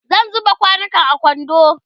zan zuba kwanukan a kwando